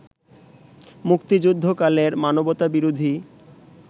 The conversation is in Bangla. মুক্তিযুদ্ধকালের মানবতাবিরোধী